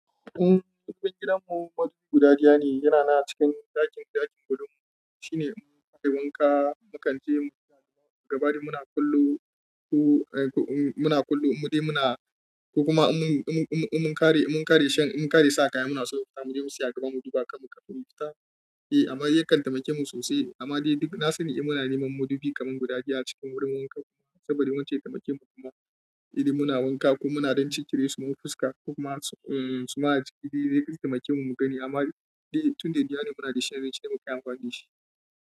Umm, cikin gidanmu madubi guda ɗaya ne. Yana nan cikin ɗakin, ɗakin gadon mu. Shine mun kai wanka, mu kanje, mu fita, gaba dai muna kullum. Ko, eh, muna kallum. Mu dai muna, ko kuma mun, mun, mun, mun kare, mun kare shan, mun kare sa kaya mu na so mu zo mu tsaya, mu saya gaban mu duba kam, kafin mu fita. Eh amma yakan taimake mu sosai amma dai duk na sani, eh muna neman madubi kaman guda biyu a cikin wurin wanka kuma. Saboda wance ya taimake mu kuma, idan muna wanka ko muna don cicire su ma fuska ko kuma, umm, su ma a jiki dai dai su taimake mu mu gani. Amma dai tun da idanu muna da shan, shine muke amfani da shi.